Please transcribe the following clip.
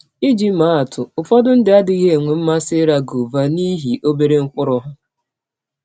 Iji maa atụ: Ụfọdụ ndị adịghị enwe mmasị ịra gọva n’ihi ọbere mkpụrụ ha.